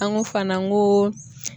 An ko fana n ko